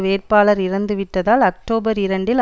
வேட்பாளர் இறந்துவிட்டதால் அக்டோபர் இரண்டில்